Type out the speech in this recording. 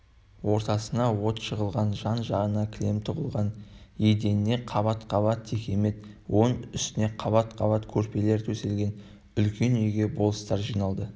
ортасына от жағылған жан-жағына кілем тұтылған еденіне қабат-қабат текемет оның үстіне қабат-қабат көрпелер төселген үлкен үйге болыстар жиналды